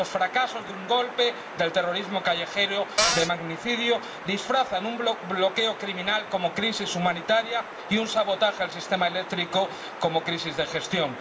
Tras los fracasos de un golpe, del terrorismo callejero, del magnicidio, disfrazan un bloqueo criminal como crisis humanitaria y un sabotaje al sistema eléctrico como crisis de gestión.